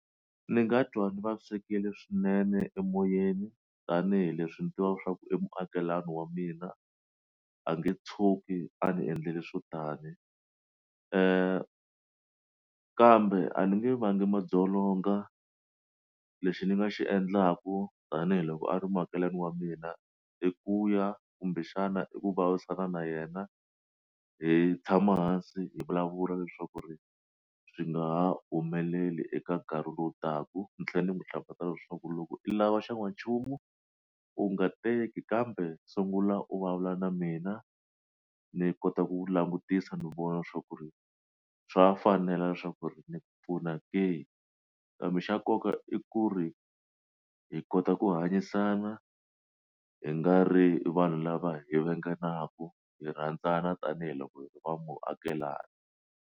Ni nga dyondza swikili swinene emoyeni tanihileswi ndzi twaka leswaku e muakelani wa mina a nge tshuki a ni endleli swo tani kambe a ni nge vangi madzolonga lexi ni nga xi endlaku tanihiloko a ri muakelani wa mina i ku ya kumbexana i ku vulavurisana na yena hi tshama hansi hi vulavula leswaku ri swi nga ha humeleli eka nkarhi lowu taka ni tlhela ni n'wi hlavutela leswaku loko i lava xa n'wanchumu u nga teki kambe sungula u vulavula na mina ni kota ku langutisa ni vona swa ku ri swa fanela leswaku ri ni ku pfuna ku kambe xa nkoka i ku ri hi kota ku hanyisana hi nga ri vanhu lava hi venganaku hi rhandzana tanihiloko hi ri vaakelani.